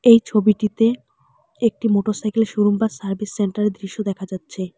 এই ছবিটিতে একটি মোটরসাইকেলের শোরুম বা সার্ভিস সেন্টারের দৃশ্য দেখা যাচ্ছে।